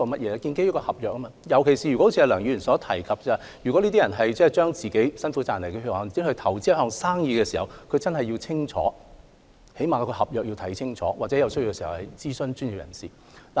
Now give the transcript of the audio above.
是建基於合約，特別是像梁議員所指，如果這些人是把辛苦賺來的血汗錢投資在一項生意上，他們更應看清楚，起碼要看清楚合約的內容，或在有需要時諮詢專業人士。